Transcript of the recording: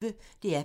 DR P1